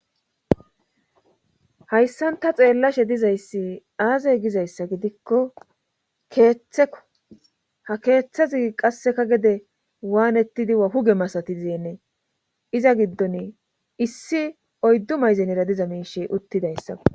Hayssan ta xeellashe dizayssi aazey gizayssa gidikko keeththeko ha keeththazi qasseka gede waanettidiahuge masati zeennee iza giddon issi oyddu mayzenera diza miishe uttidayssa